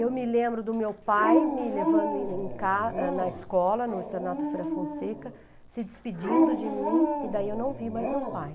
Eu me lembro do meu pai me levando em em ca na escola, no Estranato Feira Fonseca, se despedindo de mim, e daí eu não vi mais meu pai.